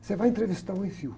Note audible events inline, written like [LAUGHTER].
Você vai entrevistar o [UNINTELLIGIBLE]